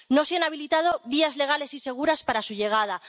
No se han habilitado vías legales y seguras para su llegada